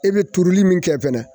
E be turuli mun kɛ fɛnɛ.